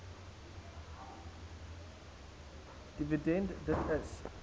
dividend d i